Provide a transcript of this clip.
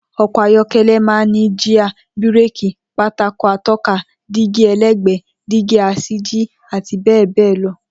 O̩kò̩ ayó̩ké̩lé̩ máa ń ní jíà, bíréèkì, pátákó ató̩ka, dígí e̩lé̩gbè̩é̩, dígí as̩íjì, àti bé̩è̩ béè̩ lo̩